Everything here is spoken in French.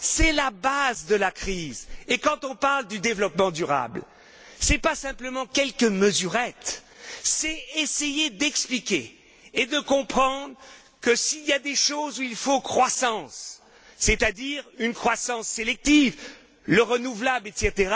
C'est la base de la crise, et quand on parle du développement durable, ce n'est pas simplement quelques mesurettes, c'est essayer d'expliquer et de comprendre que, s'il y a des choses où il faut de la croissance, c'est à dire une croissance sélective, le renouvelable, etc.,